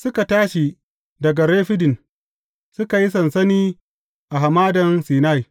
Suka tashi daga Refidim, suka yi sansani a Hamadan Sinai.